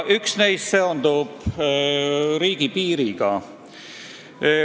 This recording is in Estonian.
Üks neist seondub riigipiiriga.